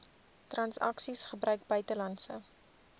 transaksies gebruik buitelandse